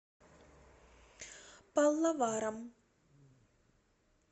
паллаварам